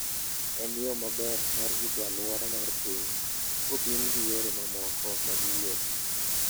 En yo maber mar rito alwora mar piny, kopim gi yore mamoko mag wuoth.